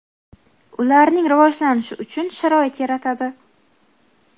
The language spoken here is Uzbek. ularning rivojlanishi uchun sharoit yaratadi.